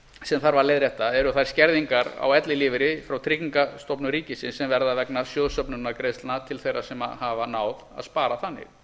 sem þarf að leiðrétta eru þær skerðingar á ellilífeyri frá tryggingastofnun ríkisins sem verða vegna sjóðsöfnunargreiðslna til þeirra sem hafa náð að spara þannig